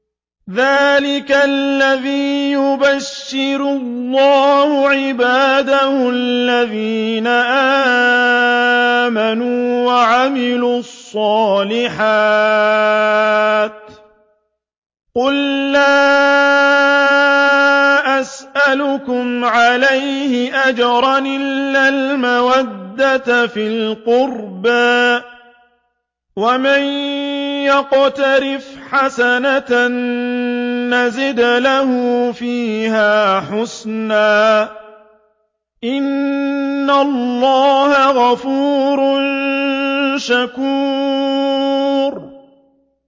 ذَٰلِكَ الَّذِي يُبَشِّرُ اللَّهُ عِبَادَهُ الَّذِينَ آمَنُوا وَعَمِلُوا الصَّالِحَاتِ ۗ قُل لَّا أَسْأَلُكُمْ عَلَيْهِ أَجْرًا إِلَّا الْمَوَدَّةَ فِي الْقُرْبَىٰ ۗ وَمَن يَقْتَرِفْ حَسَنَةً نَّزِدْ لَهُ فِيهَا حُسْنًا ۚ إِنَّ اللَّهَ غَفُورٌ شَكُورٌ